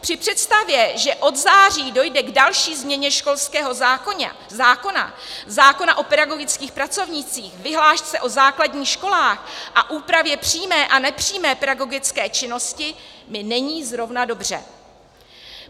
Při představě, že od září dojde k další změně školského zákona, zákona o pedagogických pracovnících, vyhlášce o základních školách a úpravě přímé a nepřímé pedagogické činnosti, mi není zrovna dobře.